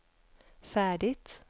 färdigt